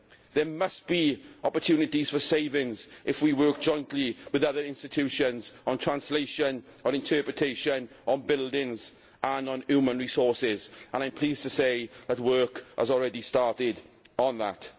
There must be opportunities for savings if we work jointly with other institutions on translation, on interpretation, on buildings and on human resources. I am pleased to say that work has already started on that.